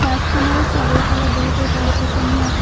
বছখনৰ চাৰিওফালে বহুতো গছ গছনি আছে।